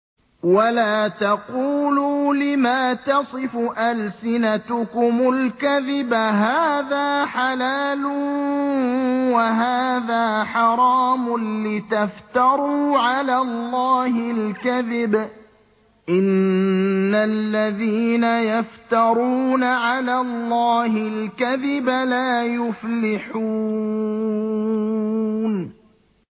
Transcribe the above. وَلَا تَقُولُوا لِمَا تَصِفُ أَلْسِنَتُكُمُ الْكَذِبَ هَٰذَا حَلَالٌ وَهَٰذَا حَرَامٌ لِّتَفْتَرُوا عَلَى اللَّهِ الْكَذِبَ ۚ إِنَّ الَّذِينَ يَفْتَرُونَ عَلَى اللَّهِ الْكَذِبَ لَا يُفْلِحُونَ